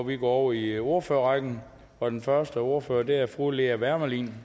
vi går over i ordførerrækken og den første ordfører er fru lea wermelin